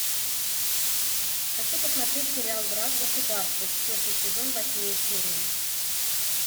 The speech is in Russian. хочу посмотреть сериал враг государства четвертый сезон восьмую серию